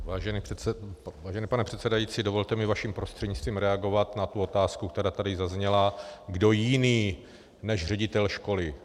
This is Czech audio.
Vážený pane předsedající, dovolte mi vaším prostřednictvím reagovat na tu otázku, která tady zazněla - kdo jiný než ředitel školy?